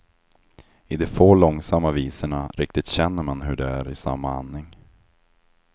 I de få långsamma visorna riktigt känner man hur de är i samma andning.